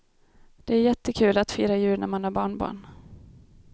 Det är jättekul att fira jul när man har barnbarn.